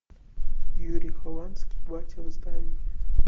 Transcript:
юрий хованский батя в здании